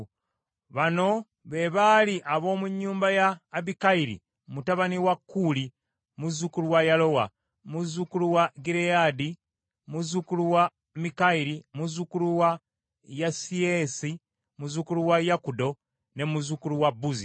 Bano be baali ab’omu nnyumba ya Abikayiri mutabani wa Kuuli, muzzukulu wa Yalowa, muzzukulu wa Gireyaadi, muzzukulu wa Mikayiri, muzzukulu wa Yesisayi, muzzukulu wa Yakudo, ne muzzukulu wa Buzi.